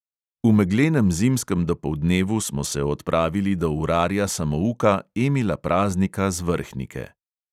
V meglenem zimskem dopoldnevu smo se odpravili do urarja samouka emila praznika z vrhnike.